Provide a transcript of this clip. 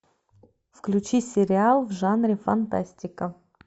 включи сериал в жанре фантастика